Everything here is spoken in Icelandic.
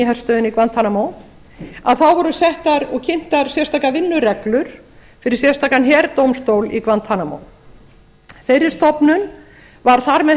í herstöðinni í guantanamo þá voru settar og kynntar sérstakar vinnureglur fyrir sérstakan herdómstól í guantanamo þeirri stofnun var þar með